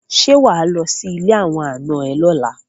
Ṣé wà á lọ sí ilé àwọn ànà ẹ lọ́la?